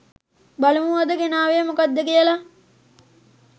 බලමු අද ගෙනාවේ මොකක්ද කියලා.